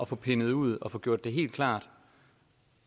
få pindet ud og få gjort det helt klart